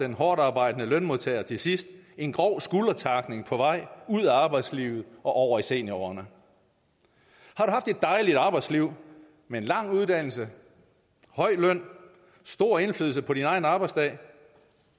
hårdtarbejdende lønmodtager til sidst en grov skuldertackling på vej ud af arbejdslivet og over i seniorårene har du haft et dejligt arbejdsliv med en lang uddannelse høj løn stor indflydelse på din egen arbejdsdag